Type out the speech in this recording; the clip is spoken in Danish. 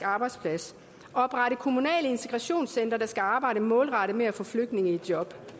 arbejdsplads og oprette kommunale integrationscentre der skal arbejde målrettet med at få flygtninge i job